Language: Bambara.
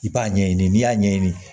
I b'a ɲɛɲini n'i y'a ɲɛɲini